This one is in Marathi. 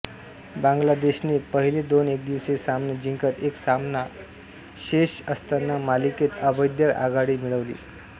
बांगलादेशने पहिले दोन एकदिवसीय सामने जिंकत एक सामना शेष असताना मालिकेत अभेद्य आघाडी मिळवली